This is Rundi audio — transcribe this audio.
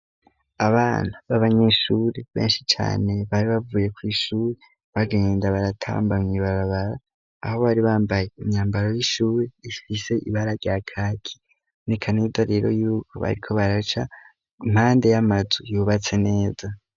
Abana b'abanyeshuri benshi cane bari bavuye ku ishure bagenda baratambamye kw'ibarabara aho bari bambaye imyambaro y'ishure ifise ibara rya kaki nikanida rero yuko bariko baraca impande y'amazu yubatse neza.